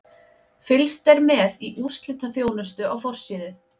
Fylgst er með í úrslitaþjónustu á forsíðu.